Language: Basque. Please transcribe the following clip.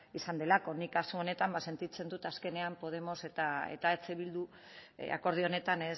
izan delako nik kasu honetan ba sentitzen dut azkenean podemos eta eh bildu akordio honetan